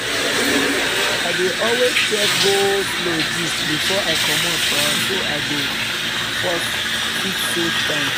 i dey always check go-slow gist before i comot for house so i go fit save time.